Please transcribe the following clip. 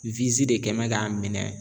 de kɛn mɛ k'a minɛ.